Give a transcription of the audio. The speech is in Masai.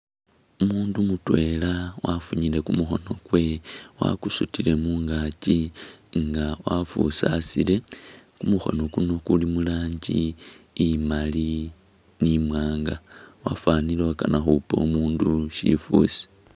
Umundu mutwela wafunyile kumukhono kwewe wakusutile mungaaki nga wafusasule, kumukhono kunoo kuli muranjii imaali ni mwanga wafanile ukana khupa umundu sifusi